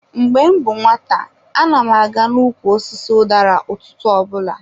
Mgbe m bụ nwata, ana m aga n'ukwu osisi udara ụtụtụ ọbụla.